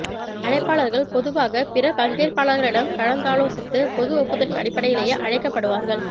அழைப்பாளர்கள் பொதுவாக பிற பங்கேற்பாளர்களிடம் கலந்தாலோசித்து பொது ஒப்புதலின் அடிப்படையிலேயே அழைக்கப் படுவார்கள்